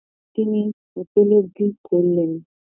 তিনি উপলব্ধি করলেন